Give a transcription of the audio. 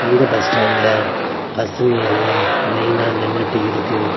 இந்த பஸ் ஸ்டாண்ட்ல பஸ்ங்க எல்லா லைனா நின்னுட்டு இருக்கு.